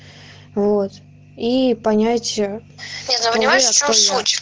вот и понятия